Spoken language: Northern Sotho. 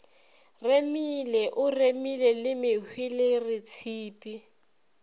remile o remile le mehweleretshipi